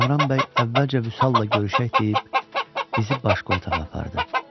Kamran bəy əvvəlcə Vüsalla görüşək deyib, bizi başqa otağa apardı.